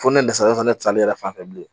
Fo ne dɛsɛra ne na ne salen yɛrɛ fan fɛ bilen